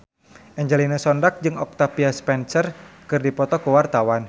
Angelina Sondakh jeung Octavia Spencer keur dipoto ku wartawan